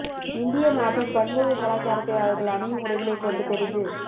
இந்திய நாட்டின் பன்முக கலாச்சாரத்தை அவர்கள் அணியும் உடைகளை கொண்டு தெரிந்து